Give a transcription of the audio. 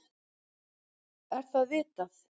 Er það vitað?